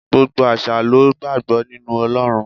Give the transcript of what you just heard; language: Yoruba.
Gbogbo àṣà lo gbàgbọ́ nínú Ọlọ́run.